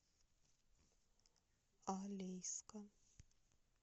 алейска